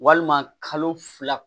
Walima kalo fila